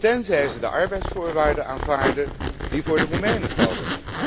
tenzij zij de arbeidsvoorwaarden aanvaarden die voor de Roemenen gelden.